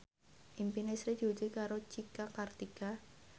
impine Sri diwujudke karo Cika Kartika